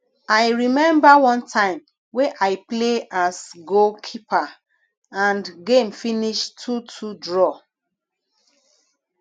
i remember one time wey i play as goal keeper and game finish 22 draw